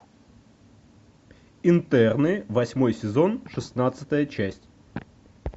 интерны восьмой сезон шестнадцатая часть